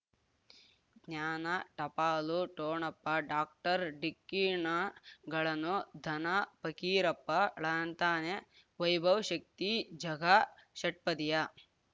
ಜ್ಞಾನ ಟಪಾಲು ಠೊಣಪ ಡಾಕ್ಟರ್ ಢಿಕ್ಕಿ ಣಗಳನು ಧನ ಫಕೀರಪ್ಪ ಳಂತಾನೆ ವೈಭವ್ ಶಕ್ತಿ ಝಗಾ ಷಟ್ಪದಿಯ